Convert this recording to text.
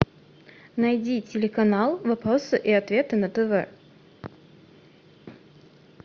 найди телеканал вопросы и ответы на тв